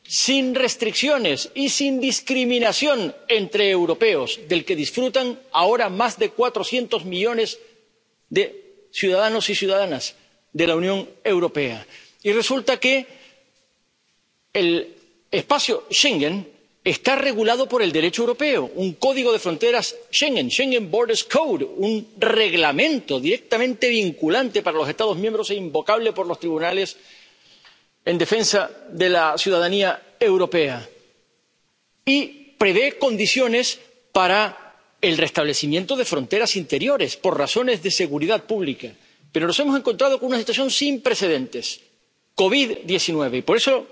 interiores, sin restricciones y sin discriminación entre europeos, del que disfrutan ahora más de cuatrocientos millones de ciudadanos y ciudadanas de la Unión Europea. Y resulta que el espacio Schengen está regulado por el Derecho europeo un Código de Fronteras Schengen Schengen Borders Code un Reglamento directamente vinculante para los Estados miembros e invocable por los tribunales en defensa de la ciudadanía europea. Y prevé condiciones para el restablecimiento de fronteras interiores por razones de seguridad pública. Pero nos hemos encontrado con una situación sin precedentes COVID 19.